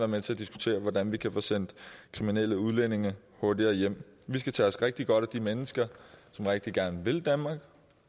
med til at diskutere hvordan man kan få sendt kriminelle udlændinge hurtigere hjem vi skal tage os rigtig godt af de mennesker som rigtig gerne vil danmark